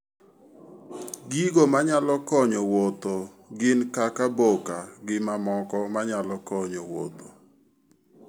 Gigo manyalo konyo wuotho gin kaka boka gi mamoko manyalo konyo wuotho